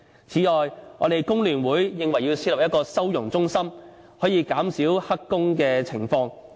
此外，工聯會認為要設立一個收容中心，從而減少他們從事黑工的情況。